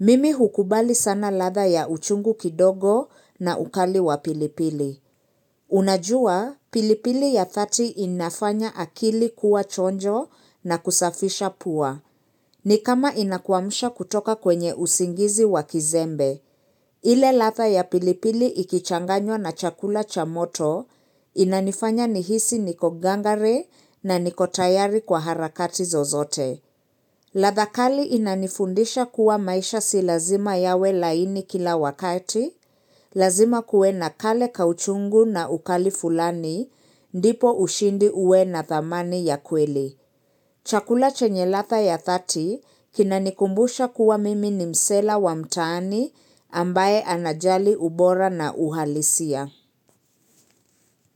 Mimi hukubali sana latha ya uchungu kidogo na ukali wa pilipili. Unajua, pilipili ya 30 inafanya akili kuwa chonjo na kusafisha puwa. Ni kama inakuwamusha kutoka kwenye usingizi wa kizembe. Ile latha ya pilipili ikichanganyo na chakula cha moto, inanifanya nihisi niko gangare na niko tayari kwa harakati zozote. La thakali inanifundisha kuwa maisha silazima yawe laini kila wakati, lazima kuwe na kale kauchungu na ukali fulani, ndipo ushindi uwe na thamani ya kweli. Chakula chenye lata ya 30 kinanikumbusha kuwa mimi ni msela wa mtaani ambaye anajali ubora na uhalisia.